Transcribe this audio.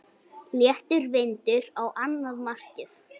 Léttur vindur á annað markið.